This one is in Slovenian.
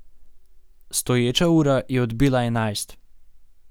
Stoječa ura je odbila enajst.